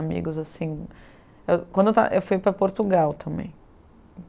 Amigos, assim... Quando eu estava eu fui para Portugal também.